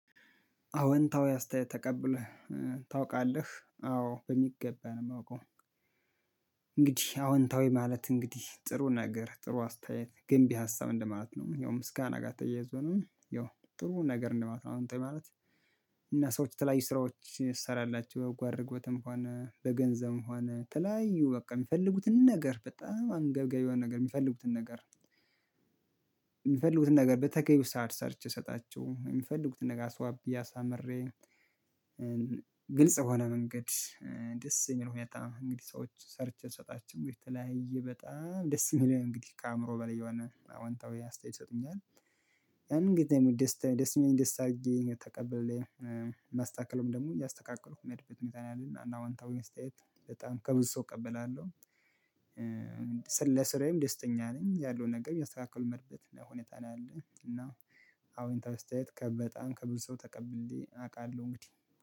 አወንታዊ አስተያየት ተቀብለህ ታውቃለህ አዎ በሚገባ ነው የማውቀው። እንግዲህ አወንታዊ ማለት እንግዲህ ጥሩ ነገር ጥሩ አስተያየት ግንቢ ሀሳብ እንደማለት ነው ምስጋና ጋር ተያይዞ ነው ያው ጥሩ ነገር ነው አዎንታዊ ማለት። እኛ ሰዎች የተለያዩ ስራዎችን ትሰራላችሁ በጎ አድራጎትም ሆነ በገንዘብም ሆነ የተለያዩ በቃ የሚፈልጉትን ነገር በጣም አንገብጋቢ የሆነ ነገር የሚፈልጉትን ነገር የሚፈልጉትን ነገር በተገቢው ሰዓት ሰርቼ እሰጣቸዋለሁ የሚፈልጉትን ነገር አስውቤ አሳምሬ። ግልጽ የሆነ መንገድ ደስ የሚል ሁኔታ እንግዲህ ሰዎች ሰርቼ ስሰጣችሁ ብዬ ተለያዬ በጣም ደስ የሚለኝ እንግዲህ ከአእምሮ በላይ የሆነ አዎንታዊ አስተያየት ይሰጡኛል። ያንን ጊዜ ደስ ደስ የሚል ደስ አድርጌ ተቀበለኝ። ማስተካከለም ደግሞ እያስተካከለሁ የሚሄድበት ሁኔታ ነው ያለኝ እና አዎንታዊ አስትያይት በጣም ከብዙ ሰው እቀበላለሁ። ለስራዬም ደስተኛ ነኝ ያለውን ነገር የሚያስተካክል መርበት ነው ሁኔታ ነው ያለኝ። እና አዎንታዊ አስተያየት በጣም ከብዙ ሰው ተቀብዬ አውቃለሁ እንግዲህ